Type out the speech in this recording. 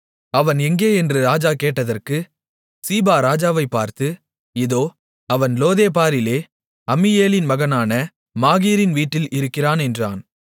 அவன் எங்கே என்று ராஜா கேட்டதற்கு சீபா ராஜாவைப் பார்த்து இதோ அவன் லோதேபாரிலே அம்மியேலின் மகனான மாகீரின் வீட்டில் இருக்கிறான் என்றான்